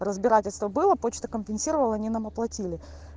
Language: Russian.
разбирательство было почта компенсировала они нам оплатили